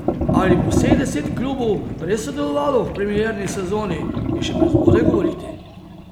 Ali bo vseh deset klubov res sodelovalo v premierni sezoni, je še prezgodaj govoriti.